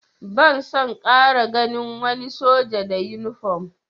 Ban son ƙara ganin wani soja da yunifom!